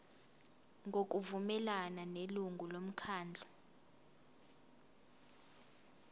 ngokuvumelana nelungu lomkhandlu